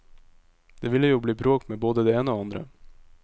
Det ville jo bli bråk med både det ene og andre.